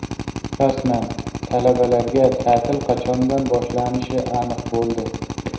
Rasman: talabalarga ta’til qachondan boshlanishi aniq bo‘ldi.